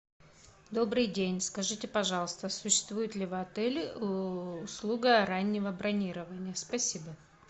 добрый день скажите пожалуйста существует ли в отеле услуга раннего бронирования спасибо